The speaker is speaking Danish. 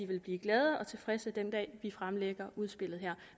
vil blive glade og tilfredse den dag vi fremlægger udspillet